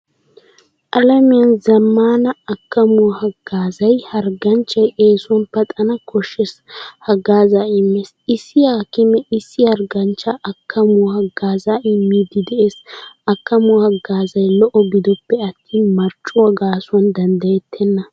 Alamiyan zammaana akkamuwaa haggaazay harganchchay eesuwan paxanawu koshshiyaa haggaaza immees. Issi haakime issi harggaanchcha akkamuwaa haagaza immidi de'ees. Akkamuwaa hagaazay lo'o gidoppe attin marccuwaa gaasuwan danddayettena.